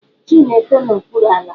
Ji na-eto n'okpuru ala.